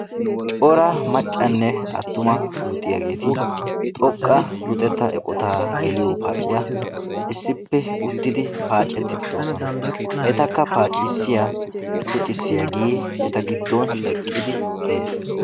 cora macanne attuma luxxiyaageeti xoqqa luxetta eqotaa geliyo paaciya issippe ekkiidi de'oosona. etakka paaciyaage eta gidon eqqidi beetees.